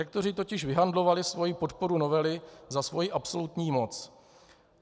Rektoři totiž vyhandlovali svoji podporu novely za svoji absolutní moc.